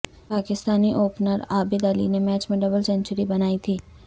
Pakistani opener Abid Ali نے match میں double century بنائی تھی